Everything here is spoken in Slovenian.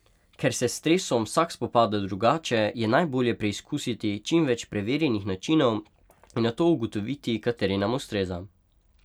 Ker se s stresom vsak spopada drugače, je najbolje preizkusiti čim več preverjenih načinov in nato ugotoviti, kateri nam ustreza.